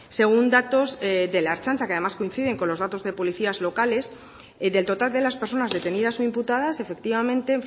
según datos de la ertzaintza que además coinciden con los datos de policías locales del total de las personas detenidas o imputadas efectivamente